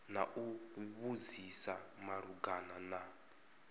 na u vhudzisa malugana na